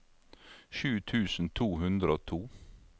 sju tusen to hundre og to